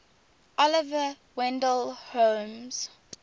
oliver wendell holmes